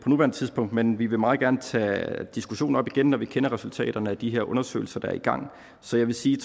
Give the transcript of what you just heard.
nuværende tidspunkt men vi vil meget gerne tage diskussionen op igen når vi kender resultaterne af de her undersøgelser der er i gang så jeg vil sige